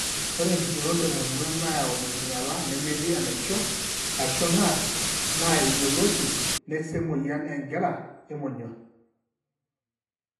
Ore empiron temonyua nayau enkinyiala nemetii enaishio, ashu NASH , naa eyioloti, neseh emuoyian engira emonyua.